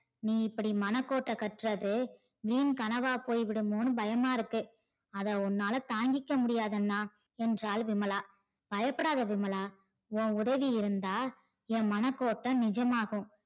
நீ இப்டி மனகோட்ட கற்றது வீண் கனவா போயிடுமோனு பயமா இருக்கு அத உன்னால தாங்கிக்க முடியாது அண்ணா என்றால் விமலா பயபடாத விமலா உன் உதவி இருந்தா என் மனகோட்ட நிஜமாகும்